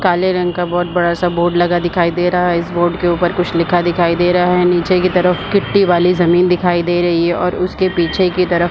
काले रंग का बहोत बड़ा-सा बोर्ड लगा दिखाई दे रहा है इस बोर्ड के ऊपर कुछ लिखा दिखाई दे रहा है निचे के तरफ गिट्टी वाली ज़मीन दिखाई दे रही है और उसके पीछे की तरफ --